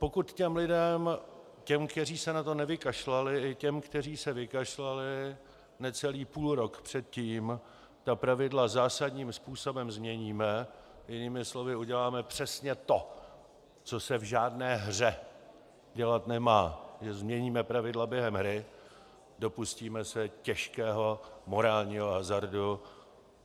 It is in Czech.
Pokud těm lidem, těm, kteří se na to nevykašlali, i těm, kteří se vykašlali, necelý půlrok předtím ta pravidla zásadním způsobem změníme, jinými slovy uděláme přesně to, co se v žádné hře dělat nemá, že změníme pravidla během hry, dopustíme se těžkého morálního hazardu.